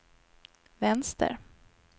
vänster